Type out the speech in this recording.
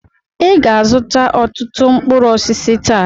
Ị ga-azụta ọtụtụ mkpụrụ osisi taa!